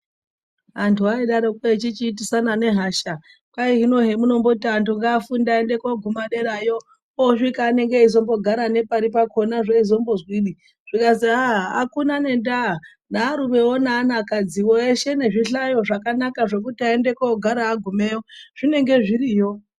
Antu aidarokwo echichiitisana nehasha kwai hino hemunomboti antu ngafunde aende koguma derayo osvika anenge eizombogara nepari pakhona zveizombozwinyi. Zvikazi akuna nendaa nearumewo neanakadziwo eshe nezvihlayo zvakanaka zvekuti aende kogara agumeyo zvinenge zviriyo.